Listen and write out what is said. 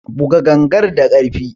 Buga gangar da karfi!